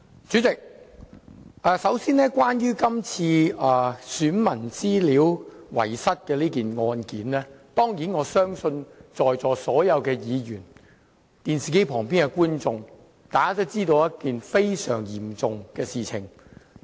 主席，首先，關於遺失選民資料案件，我相信在座所有議員、電視機旁的觀眾都知道這是一件非常嚴重的事情。